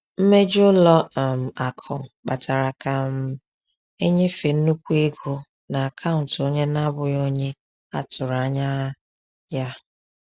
Mmejọ ụlọ um akụ kpatara ka um e nyefee nnukwu ego n’akaụntụ onye na-abụghị onye a tụrụ anya um ya.